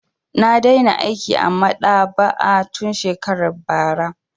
Na daina aiki a maɗaba'a tun shekarar bara.